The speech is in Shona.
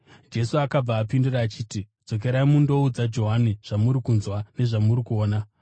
Jesu akavapindura achiti, “Dzokerai mundoudza Johani zvamuri kunzwa nezvamuri kuona: